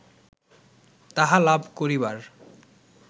তাহা লাভ করিবার